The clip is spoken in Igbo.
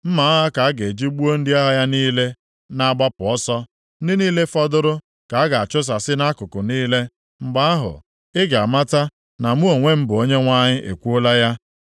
Mma agha ka a ga-eji gbuo ndị agha ya niile na-agbapụ ọsọ, ndị niile fọdụrụ ka a ga-achụsasị nʼakụkụ niile. Mgbe ahụ, ị ga-amata na mụ onwe m bụ Onyenwe anyị ekwuola ya.